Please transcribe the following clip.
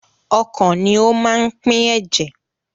Ọkàn ni ó máa ń pín ẹ̀jẹ̀.